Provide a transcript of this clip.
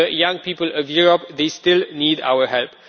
The young people of Europe still need our help.